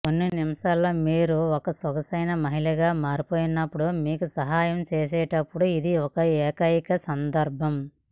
కొన్ని నిమిషాల్లో మీరు ఒక సొగసైన మహిళగా మారిపోయేటప్పుడు మీకు సహాయం చేసేటప్పుడు ఇది ఏకైక సందర్భం